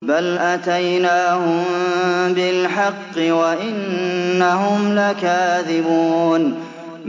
بَلْ أَتَيْنَاهُم بِالْحَقِّ وَإِنَّهُمْ لَكَاذِبُونَ